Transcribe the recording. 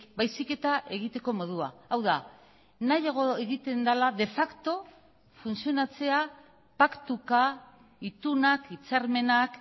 baizik eta egiteko modua hau da nahiago egiten dela de facto funtzionatzea paktuka itunak hitzarmenak